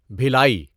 Bhilai